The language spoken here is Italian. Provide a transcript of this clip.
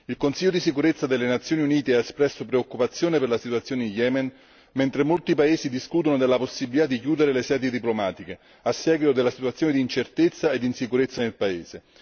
Il Consiglio di sicurezza delle Nazioni Unite ha espresso preoccupazione per la situazione in Yemen, mentre molti paesi discutono della possibilità di chiudere le sedi diplomatiche a seguito della situazione d'incertezza e d'insicurezza nel paese.